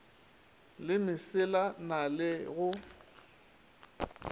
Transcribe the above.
le mesela na le go